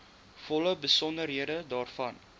volle besonderhede daarvan